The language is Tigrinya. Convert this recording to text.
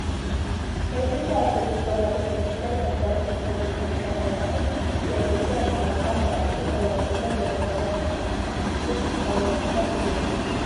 ናይ ኢትዮጵያ ኦርቶዶክስ ተዋህዶ ቤተ ክርስትያን ፓትርያሪክ ዝኾኑ ርእሰ ሊቃነ ጳጳሳት ዘ-ኢ/ያ ሊቀ ጻጻስ ዘኣክሱም ወእጨገ ዘ-መንበረ ተ/ሃይማኖት ብፁእ ኣውነ ማትያስ እዚኦም እዮም፡፡